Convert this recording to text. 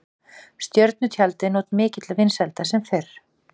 Stjörnutjaldið naut mikilla vinsælda sem fyrr.